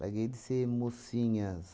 Larguei de ser mocinhas